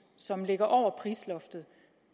som ligger over prisloftet